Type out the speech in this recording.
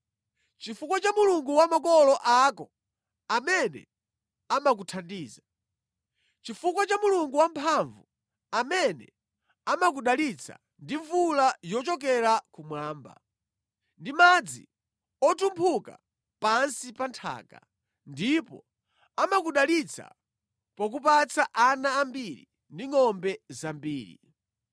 Chifukwa cha Mulungu wa makolo ako amene amakuthandiza; chifukwa cha Mulungu Wamphamvu, amene amakudalitsa ndi mvula yochokera kumwamba, ndi madzi otumphuka pansi pa nthaka, ndipo amakudalitsa pokupatsa ana ambiri ndi ngʼombe zambiri.